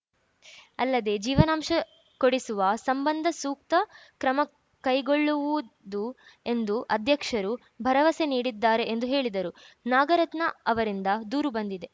ಅಲ್ಲದೆ ಜೀವನಾಂಶ ಕೊಡಿಸುವ ಸಂಬಂಧ ಸೂಕ್ತ ಕ್ರಮ ಕೈಗೊಳ್ಳುವುದು ಎಂದು ಅಧ್ಯಕ್ಷರು ಭರವಸೆ ನೀಡಿದ್ದಾರೆ ಎಂದು ಹೇಳಿದರು ನಾಗರತ್ನ ಅವರಿಂದ ದೂರು ಬಂದಿದೆ